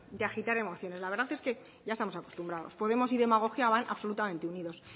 de agitar emoción la verdad es que ya estamos acostumbrados podemos y demagogia van absolutamente unidos